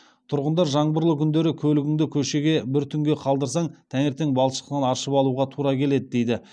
тұрғындар жаңбырлы күндері көлігіңді көшеге бір түнге қалдырсаң таңертең балшықтан аршып алуға тура келеді дейді